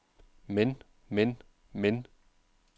men men men